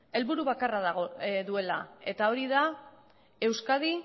helburu bakarra duela eta hori da euskadi